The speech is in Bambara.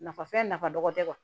Nafa fɛn nafa dɔ tɛ